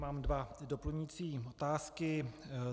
Mám dvě doplňující otázky.